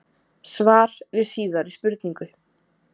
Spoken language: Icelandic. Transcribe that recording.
Svar við síðari spurningu: